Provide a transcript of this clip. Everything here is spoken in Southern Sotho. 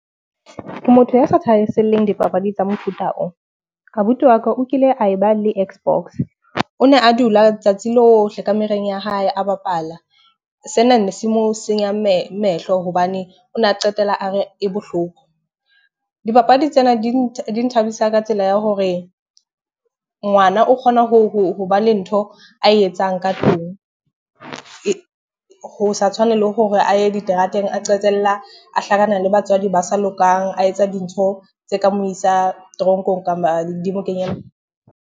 Ke motho ya sa thahaselleng dipapadi tsa mofuta oo. Abuti wa ka o kile ae ba le xbox. O ne a dula letsatsi lohle kamoreng ya hae a bapala. Sena ne se mo senyang mehlo hobane o na qetela a re e bohloko. Dipapadi tsena di nthabisa ka tsela ya hore ngwana o kgona hoba le ntho ae etsang ka tlung, ho sa tshwane le hore a ye diterateng a qetella a hlakana le batswadi ba sa lokang, a etsa dintho tse ka mo isa toronkong di mo .